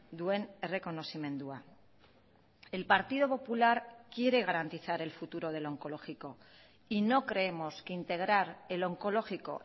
duen errekonozimendua el partido popular quiere garantizar el futuro del oncológico y no creemos que integrar el oncológico